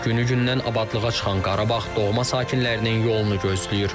Günü-gündən abadlığa çıxan Qarabağ doğma sakinlərinin yolunu gözləyir.